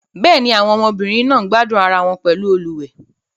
Bẹ́ẹ̀ ni, àwọn ọmọbìnrin náà ń gbádùn ara wọn pẹ̀lú àwọn olùwẹ̀.